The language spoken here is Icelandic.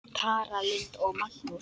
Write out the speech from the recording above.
Tara Lynd og Magnús.